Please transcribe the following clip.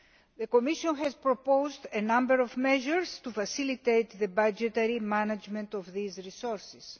The Commission has proposed a number of measures to facilitate the budgetary management of these resources.